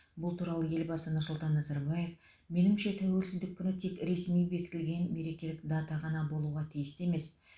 бұл туралы елбасы нұрсұлтан назарбаев меніңше тәуелсіздік күні тек ресми бекітілген мерекелік дата ғана болуға тиісті емес